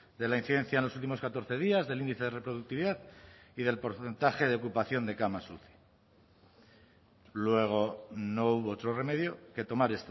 de la incidencia en los últimos catorce días del índice de reproductividad y del porcentaje de ocupación de camas uci luego no hubo otro remedio que tomar